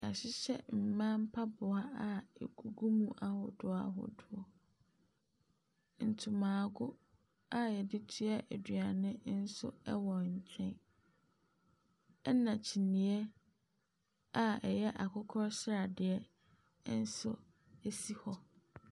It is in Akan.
Wɔahyehyɛ mma mpaboa a ɛgu mu ahodoa ahodoɔ. Nyomago a wɔde toɛ aduane nso wɔ nkyɛn, ɛna kyiniiɛ a ɛyɛ akokɔ sradeɛ nso si hɔ.